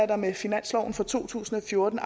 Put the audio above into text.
der med finansloven for to tusind og fjorten